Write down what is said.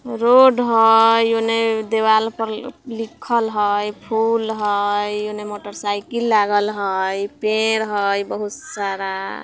रोड हई ओने दीवाल पर लि लिखल हई फूल हई ओने मोटरसाइकिल लागल हई पेड़ हई बहुत सारा |